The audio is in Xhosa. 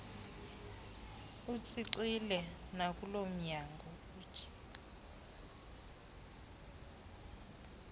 etshixile nakulo mnyango